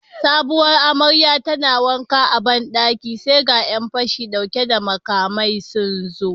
Sabuwar amaryar tana wanka a bandaki sai ga Yan fashi dauke da makamai sunzo